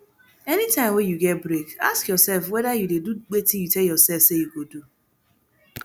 anytime wey you get break ask yourself whether you dey do wetin you tell yourself say you go do